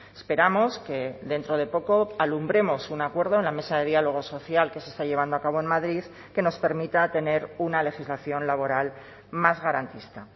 esperamos que dentro de poco alumbremos un acuerdo en la mesa de diálogo social que se está llevando a cabo en madrid que nos permita tener una legislación laboral más garantista